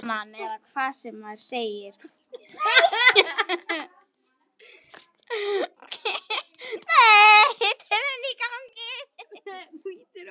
Á einn hátt eða annan.